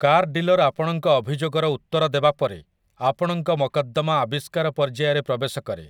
Car dealer ଆପଣଙ୍କ ଅଭିଯୋଗର ଉତ୍ତର ଦେବା ପରେ, ଆପଣଙ୍କ ମକଦ୍ଦମା ଆବିଷ୍କାର ପର୍ଯ୍ୟାୟରେ ପ୍ରବେଶ କରେ ।